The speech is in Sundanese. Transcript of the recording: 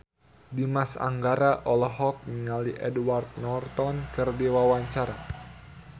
Dimas Anggara olohok ningali Edward Norton keur diwawancara